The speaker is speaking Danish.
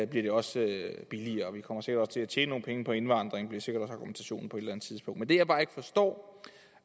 det også billigere og at vi også kommer til at tjene nogle penge på indvandringen bliver sikkert også argumentationen på et eller andet tidspunkt men det jeg bare ikke forstår